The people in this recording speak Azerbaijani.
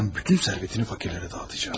Cadının bütün sərvətini fakirlərə dağıdacağam.